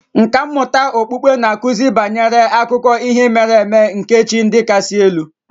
Nkà mmụta okpukpe na-akụzi banyere akụkọ ihe mere eme nke chi ndị kasị elu